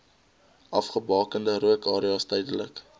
afgebakende rookareas duidelik